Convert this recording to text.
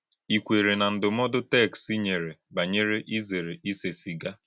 Ị̀ kwèèrè na ndụ́mòdù téksì nyèrè bányèré ìzèrè ísè sìgà?